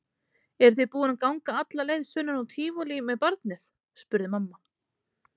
Eruð þið búin að ganga alla leið sunnan úr Tívolí með barnið? spurði mamma.